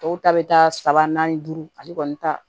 Tɔw ta bɛ taa saba naani duuru ale kɔni ta